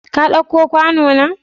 Ka ɗauka kwano na?